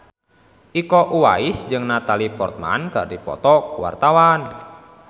Iko Uwais jeung Natalie Portman keur dipoto ku wartawan